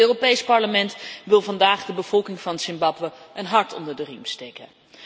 Het Europees Parlement wil vandaag de bevolking van Zimbabwe een hart onder de riem steken.